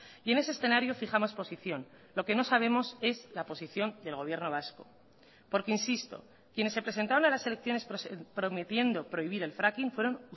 y en ese escenario fijamos posición lo que no sabemos es la posición del gobierno vasco porque insisto quienes se presentaron a las elecciones prometiendo prohibir el fracking fueron